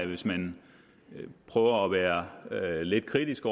hvis man prøver at være lidt kritisk